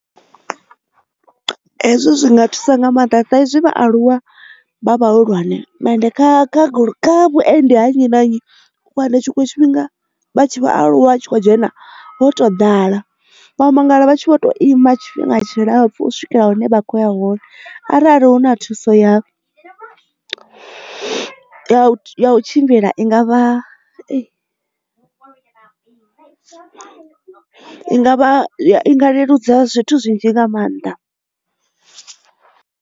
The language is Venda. Hezwo zwi nga thusa nga maanḓa saizwi vhaaluwa vha vhahulwane ende kha vhuendedzi ha nnyi na nnyi tshinwe tshifhinga vhatshi vhaaluwa tshi khou dzhena ho to ḓala vha mangala vha tshi vho to ima tshifhinga tshilapfu u swikela hune vha khoya hone arali hu na thuso ya u tshimbila ingavha i ngavha i nga leludza zwithu zwinzhi nga maanḓa.